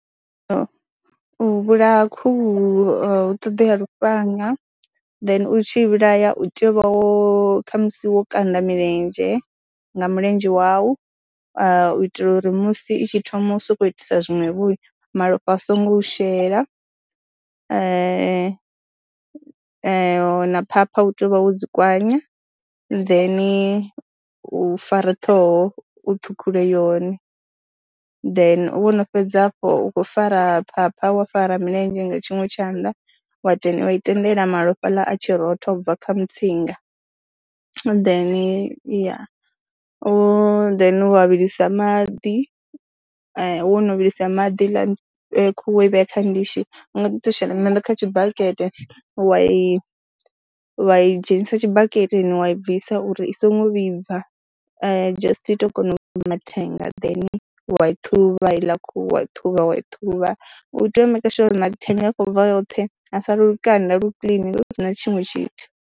U vhulaya khuhu hu ṱoḓea lufhanga, then u tshi i vhulaya u tea u vha wo khamusi wo kanda milenzhe nga mulenzhe wau, u itela uri musi i tshi thoma u sokou itisa zwiṅwevho malofha a songo u shela na phapha u tea u vha wo dzi kwanya, ḓeni u fara ṱhoho u ṱhukhule yone, then wono fhedza afho u khou fara phapha wa fara milenzhe nga tshiṅwe tshanḓa wa wa i tendela malofha aḽa a tshi rotha u bva kha mutsinga, then ya, u then wa vhilisa maḓi wo no vhilisa maḓi heiḽani khuhu wo i vhea kha ndishi, u nga ḓi tou shela maḓi kha tshibakete, wa i wa i dzhenisa tshibaketeni wa i bvisa uri i songo vhibva, just i tou kona u ṱhuvha mathenga, then wa i ṱhuvha heiḽa khuhu wa i ṱhuvha, wa i ṱhuvha, u tea u maker sure uri mathenga a khou bva oṱhe ha sala lukanda lu clean lu si na tshiṅwe tshithu.